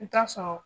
I bi t'a sɔrɔ